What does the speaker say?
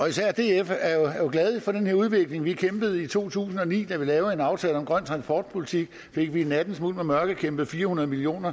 især df er jo glad for den her udvikling vi kæmpede i to tusind og ni for da vi lavede en aftale om grøn transportpolitik fik vi i nattens mulm og mørke kæmpet fire hundrede million